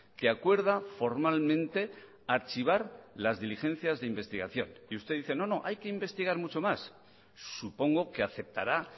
que acuerda formalmente archivar las diligencias de investigación y usted dice no no hay que investigar mucho más supongo que aceptará